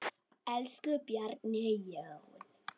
Elsku Bjarni Jón.